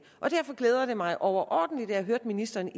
derfor glæder det mig overordentligt at jeg hørte ministeren